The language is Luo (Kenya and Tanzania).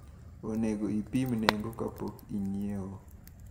Onego ipim nengo kapok inyiewo.